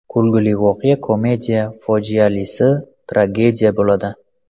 Kulgili voqea komediya, fojialisi tragediya bo‘ladi.